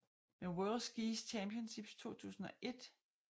Med World Ski Championships 2001 i St